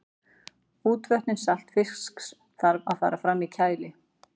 útvötnun saltfisks þarf að fara fram í kæli